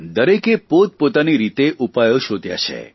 દરેકે પોતપોતાની રીતે ઉપાયો શોધ્યા છે